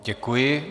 Děkuji.